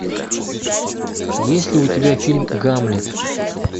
есть ли у тебя фильм гамлет